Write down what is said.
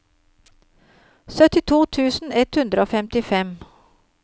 syttito tusen ett hundre og femtifem